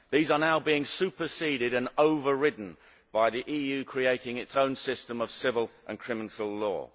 These are now being superseded and overridden by the EU creating its own system of civil and criminal law.